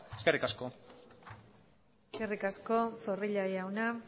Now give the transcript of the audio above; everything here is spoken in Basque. eskerrik asko eskerrik asko zorrilla jauna